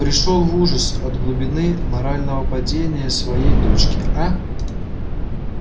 пришёл в ужас от глубины морального падения своей дочки а